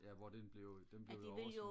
ja hvor den blev den blev over